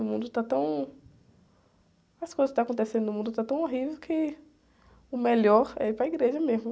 O mundo está tão... As coisas que estão acontecendo no mundo estão tão horríveis que o melhor é ir para a igreja mesmo.